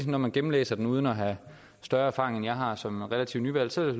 når man gennemlæser den uden at have større erfaring end jeg har som relativt nyvalgt